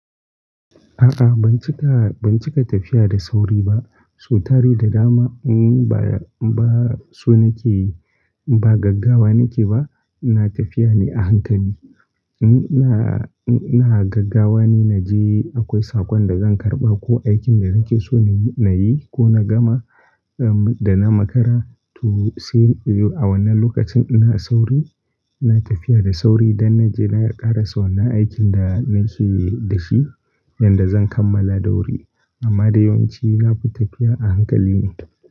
A'a, ban cika, ban cika tafiya da sauri ba. Su tari da dama, umm, baya, ba so nake yi, ba gaggawa nake ba. iNa tafiya ne a hankali. Umm, na, ina gaggawa ne na je akwai sakon da zan karɓa ko aikin da nake so na yi, na yi ko na gama, umm, da na makara to say a wannan lokacin ina sauri, ina tafiya da sauri don na je na ƙarasa wannan aikin da nake da shi yanda zan kammala da wuri. Amma da yawanci nafi tafiya a hankali ne.